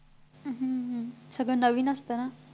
अह अह अह सगळं नवीन असतं ना